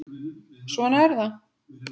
Svona er það.